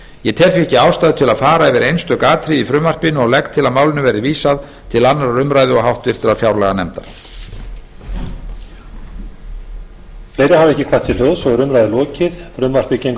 ég tel því ekki ástæðu til að fara yfir einstök atriði í frumvarpinu og legg til að málinu verði vísað til annarrar umræðu og háttvirtrar fjárlaganefndar